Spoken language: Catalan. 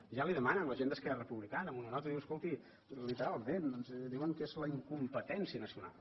ja li ho demanen la gent d’esquerra republicana amb una nota escolti literalment doncs diuen que és la in competència nacional